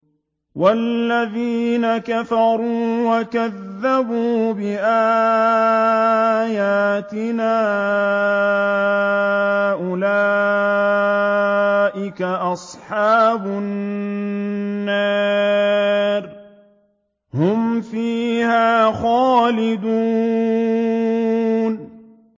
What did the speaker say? وَالَّذِينَ كَفَرُوا وَكَذَّبُوا بِآيَاتِنَا أُولَٰئِكَ أَصْحَابُ النَّارِ ۖ هُمْ فِيهَا خَالِدُونَ